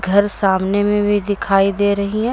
घर सामने में भी दिखाई दे रही है।